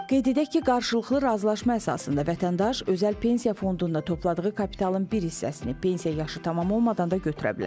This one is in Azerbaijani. Qeyd edək ki, qarşılıqlı razılaşma əsasında vətəndaş özəl pensiya fondunda topladığı kapitalın bir hissəsini pensiya yaşı tamam olmadan da götürə bilər.